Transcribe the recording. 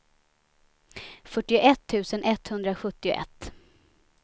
fyrtioett tusen etthundrasjuttioett